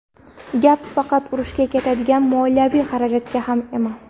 Gap faqat urushga ketadigan moliyaviy xarajatda ham emas.